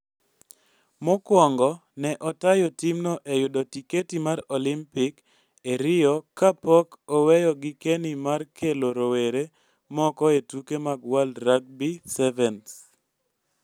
Mokwongo, ne otayo timno e yudo tiketi mar Olimpik e Rio kapok oweyo gikeni mar kelo rowere moko e tuke mag World Rugby Sevens.